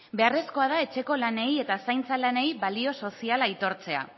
beharrezkoa da etxeko lanei eta zaintza lanei balio soziala aitortzea